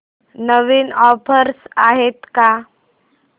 नवीन offers आहेत का